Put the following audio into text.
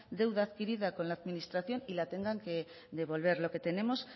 deuda adquirida con la administración y la tengan que devolver lo que tenemos